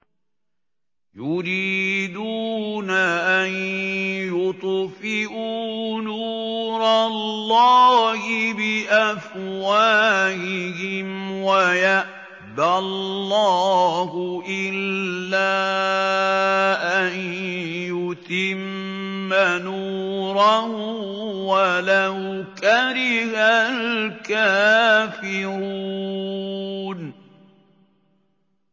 يُرِيدُونَ أَن يُطْفِئُوا نُورَ اللَّهِ بِأَفْوَاهِهِمْ وَيَأْبَى اللَّهُ إِلَّا أَن يُتِمَّ نُورَهُ وَلَوْ كَرِهَ الْكَافِرُونَ